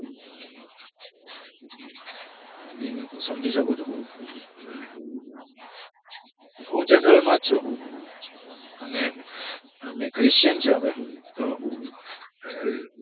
સમજી શકું છુ હું general માં છુ અને અમે ખ્રીશિયન છીએ તો